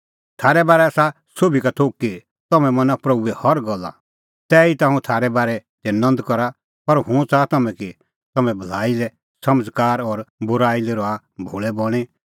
थारै बारै आसा सोभी का थोघ कि तम्हैं मना प्रभूए हर गल्ला तैहीता हुंह थारै बारै दी नंद करा पर हुंह च़ाहा कि तम्हैं भलाई लै समझ़कार और बूराई लै रहा भोल़ै बणीं